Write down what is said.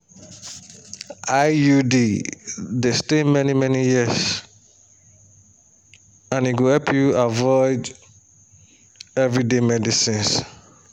iud dey stay many-many years and e go help you avoid everyday medicines.